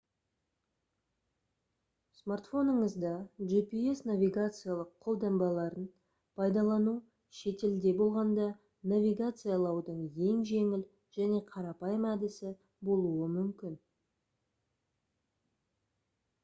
смартфоныңызда gps навигациялық қолданбаларын пайдалану шетелде болғанда навигациялаудың ең жеңіл және қарапайым әдісі болуы мүмкін